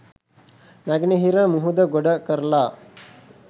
නැගෙනහිර මුහුද ගොඩ කරලා